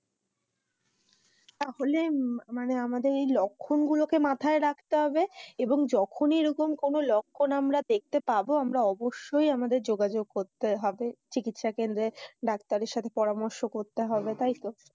তাহলে মানে আমাদের ওই লক্ষণ গুলোকে মাথায় রাখতে হবে এবং যখনি এরকম কোনো লক্ষণ দেখতে পাবো আমরা অবশ্যই যোগাযোগ করতে হবে চিকিৎসা কেন্দ্রে ডাক্তারের সাথে পরামর্শ করতে হবে তাইতো?